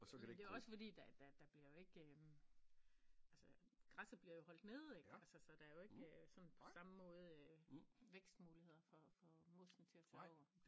Jamen det jo også fordi der der der bliver jo ikke altså græsset bliver jo holdt nede ikke altså så der jo ikke sådan på samme måde øh vækstmuligheder for for mosset til at tage over